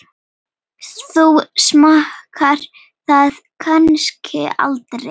Þú smakkar það kannski aldrei?